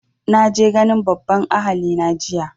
Na je ganin babban ahali na jiya